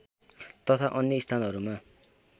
तथा अन्य स्थानहरूमा